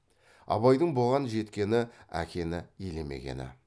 абайдың бұған жеткені әкені елемегені